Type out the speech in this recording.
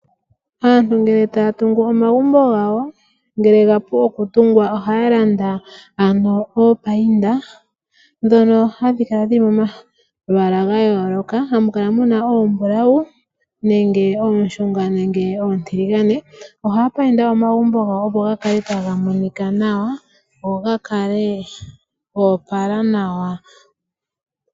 Aantu ngele taya tungu omagumbo gawo ngele gapu okutungwa, ohaya landa ano iimbambekithi mbyono hayi kala yili momalwaala gayooloka. Ohamu kala muna oombulau, oonshunga nenge oontiligane. Ohaya mbambeke omagumbo gawo opo gakale taga monika nawa , go gakale goopala nawa.